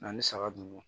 N'an ni saga dun